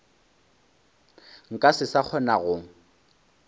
nka se sa kgona go